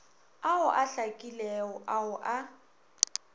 ao a hlakilego ao a